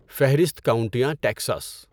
فہرست کاؤنٹیاں ٹیکساس